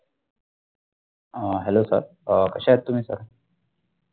आ Hello sir अ कशा आहते